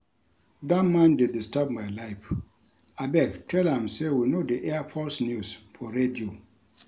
Dat man dey disturb my life, abeg tell am say we no dey air false news for radio